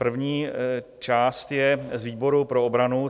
První část je z výboru pro obranu.